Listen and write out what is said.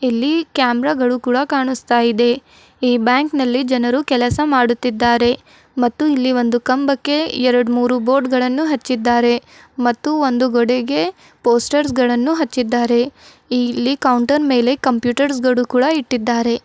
ಇಲ್ಲಿ ಕ್ಯಾಮೆರಾ ಗಳು ಕೂಡ ಕಾಣಿಸ್ತಾ ಇದೆ ಈ ಬ್ಯಾಂಕ್ ನಲ್ಲಿ ಜನರು ಕೆಲಸ ಮಾಡುತ್ತಿದ್ದಾರೆ ಮತ್ತು ಇಲ್ಲಿ ಒಂದು ಕಂಬಕ್ಕೆ ಎರಡು ಮೂರು ಬೋರ್ಡ್ ಗಳನ್ನು ಹಚ್ಚಿದ್ದಾರೆ ಮತ್ತು ಒಂದು ಗೋಡೆಗೆ ಪೋಸ್ಟರ್ಸ್ ಗಳನ್ನು ಹಚ್ಚಿದ್ದಾರೆ ಇಲ್ಲಿ ಕೌಂಟರ್ ಮೇಲೆ ಕಂಪ್ಯೂಟರ್ಸ್ ಗಳು ಕೂಡ ಇಟ್ಟಿದ್ದಾರೆ.